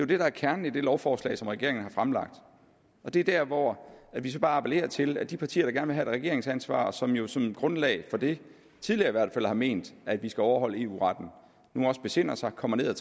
det der er kernen i det lovforslag som regeringen har fremlagt og det er der hvor vi så bare appellerer til at de partier der gerne vil regeringsansvar og som jo som grundlag for det tidligere i hvert fald har ment at de skal overholde eu retten nu også besinder sig og kommer ned